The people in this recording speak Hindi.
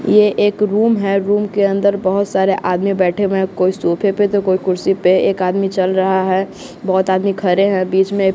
ये एक रूम है रूम के अंदर बहोत सारे आदमी बैठे हुए कोई सोफे पे तो कोई कुर्सी पे एक आदमी चल रहा हैं बहोत आदमी खड़े हैं बीच में --